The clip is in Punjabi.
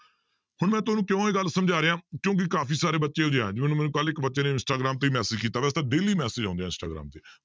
ਹੁਣ ਮੈਂ ਤੁਹਾਨੂੰ ਕਿਉਂ ਇਹ ਗੱਲ ਸਮਝਾ ਰਿਹਾਂ ਕਿਉਂਕਿ ਕਾਫ਼ੀ ਸਾਰੇ ਬੱਚੇ ਜਿਵੇਂ ਮੈਨੂੰ ਕੱਲ੍ਹ ਇੱਕ ਬੱਚੇ ਨੇ ਇੰਸਟਾਗ੍ਰਾਮ ਤੇ ਹੀ message ਕੀਤਾ daily message ਆਉਂਦੇ ਆ ਇੰਸਟਾਗ੍ਰਾਮ ਤੇ